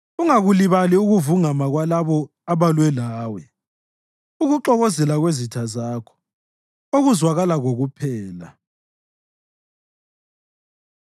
Ungakulibali ukuvungama kwalabo abalwa lawe, ukuxokozela kwezitha zakho, okuzwakala kokuphela.